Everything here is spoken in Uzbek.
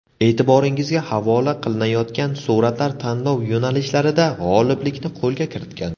E’tiboringizga havola qilinayotgan suratlar tanlov yo‘nalishlarida g‘oliblikni qo‘lga kiritgan.